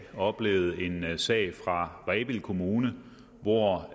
oplevet en sag fra rebild kommune hvor